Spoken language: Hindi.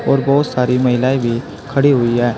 और बहुत सारी महिलाएं भी खड़ी हुई है।